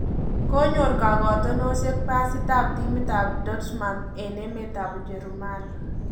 Konyor kakotinosiek basiit ab timit ab Dortmund en emt ab Ujerumani